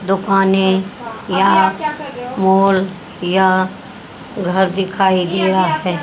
दुकानें या मॉल या घर दिखाई दिया है।